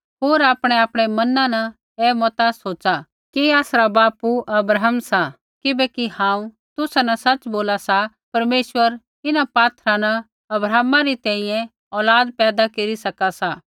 होर आपणैआपणै मना न ऐ मता सोच़ा कि आसरा बापू अब्राहम सा किबैकि हांऊँ तुसा न सच़ बोला सा परमेश्वर इन्हां पात्थरा न अब्राहमा री तैंईंयैं औलाद पैदा केरी सका सा